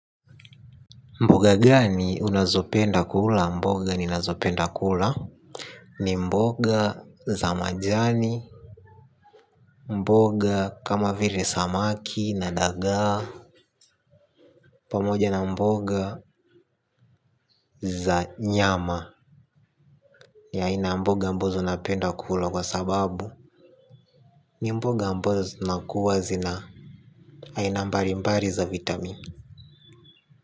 Mboga gani unazopenda kula mboga ninazopenda kula. Ni mboga za majani. Mboga kama vile samaki na dagaa. Pamoja na mboga za nyama ni aina ya mboga ambazo napenda kula kwa sababu ni mboga ambazo zinakuwa zina aina mbali mbali za vitamin.